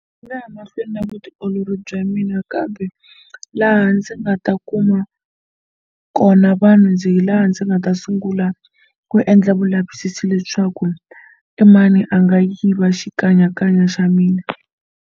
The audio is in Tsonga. Ndzi nga ya mahlweni na vutiolori bya mina kambe laha ndzi nga ta kuma kona vanhu ndzi hi laha ndzi nga ta sungula ku endla vulavisisi leswaku i mani a nga yiva xikanyakanya xa mina.